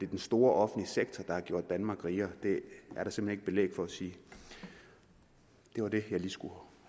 den store offentlige sektor der har gjort danmark rigere det er der simpelt belæg for at sige det var det jeg lige skulle